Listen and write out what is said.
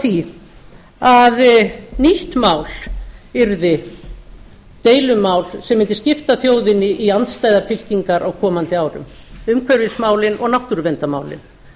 því að nýtt mál yrði deilumál sem mundi skipta þjóðinni í andstæðar fylkingar á komandi árum umhverfismálin og náttúruverndarmálin